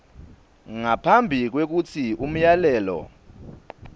ngaphambi kwekutsi umyalelo